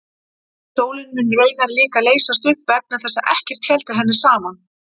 Sólin mundi raunar líka leysast upp vegna þess að ekkert héldi henni saman.